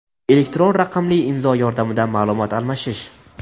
elektron raqamli imzo yordamida maʼlumot almashish;.